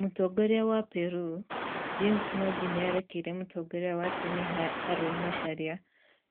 Mũtongoria wa Peru, James Mwangi nĩarekeire mũtongoria wa tene Haron Macharia